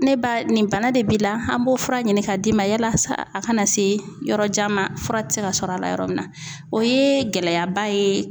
Ne ba nin bana de b'i la an b'o fura ɲini k'a d'i ma yalasa a kana se yɔrɔjan ma fura ti se ka sɔrɔ a la yɔrɔ min na, o ye gɛlɛyaba ye